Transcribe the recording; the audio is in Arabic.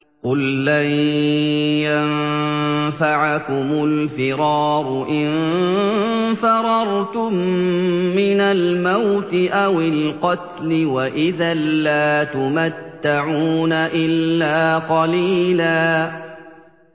قُل لَّن يَنفَعَكُمُ الْفِرَارُ إِن فَرَرْتُم مِّنَ الْمَوْتِ أَوِ الْقَتْلِ وَإِذًا لَّا تُمَتَّعُونَ إِلَّا قَلِيلًا